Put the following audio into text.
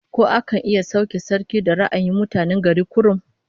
Ko akan iya sauke sarki da ra'ayin mutane gari kurum?